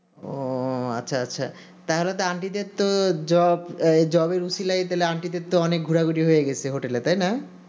ও আচ্ছা আচ্ছা তাহলে তো aunty দের তো job job এর অসীলায় তাহলে তো aunty দের তো অনেক ঘোরাঘুরি হয়ে গেছে hotel এ তাই না